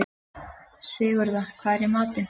Sigurða, hvað er í matinn?